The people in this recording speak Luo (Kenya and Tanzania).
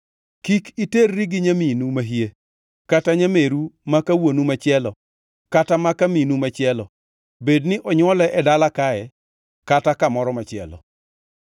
“ ‘Kik iterri gi nyaminu mahie, kata nyameru maka wuonu machielo kata maka minu machielo, bedni onywole e dala kae, kata kamoro machielo.